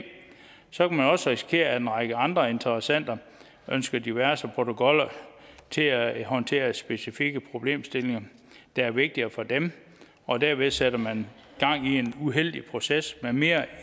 så kan man også risikere at en række andre interessenter ønsker diverse protokoller til at håndtere specifikke problemstillinger der er vigtigere for dem og dermed sætter man gang i en uheldig proces med mere